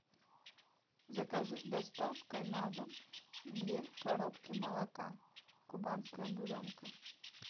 закажи с доставкой на дом две коробки молока кубанская буренка